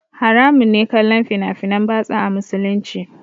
Haramun ne kallon fina finan batsa a musulunci